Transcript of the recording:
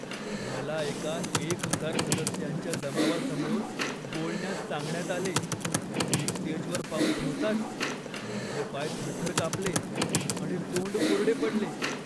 मला एका एक हजार सदस्यांच्या जमावासमोर बोलण्यास सांगण्यात आले. मी स्टेजवर पाऊल ठेवताच माझे पाय थरथर कापले आणि तोंड कोरडे पडले.